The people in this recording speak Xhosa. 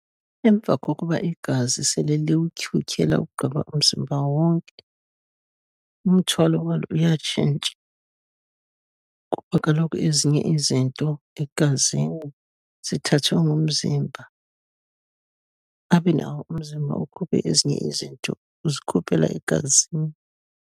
Emva kokuba igazi sele liwutyhutyhe lawugqiba umzimba wonke, umthwalo walo uyatshintsha, kuba kaloku ezinye izinto egazini zithathwe ngumzimba, abe nawo umzimba ukhuphe ezinye izinto uzikhuphela egazini.